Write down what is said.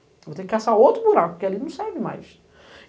Eu vou ter que caçar outro buraco, que ali não serve mais.